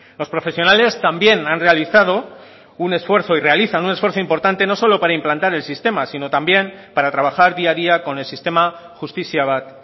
los profesionales también han realizado un esfuerzo y realizan un esfuerzo importante no solo para implantar el sistema sino también para trabajar día a día con el sistema justizia bat